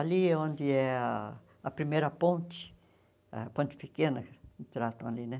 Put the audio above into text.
Ali é onde é ah a primeira ponte, a ponte pequena que tratam ali né.